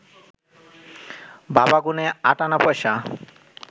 বাবা গুনে আটআনা পয়সা